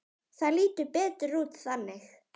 Það lítur betur út þannig.